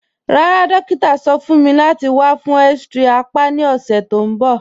Rárá, dòkítà sọ̀ fún mí láti wà fún x-ray àpá ni ọṣẹ̀ tó nbọ̀